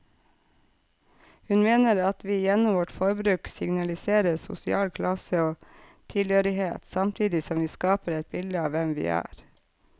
Hun mener at vi gjennom vårt forbruk signaliserer sosial klasse og tilhørighet, samtidig som vi skaper et bilde av hvem vi er.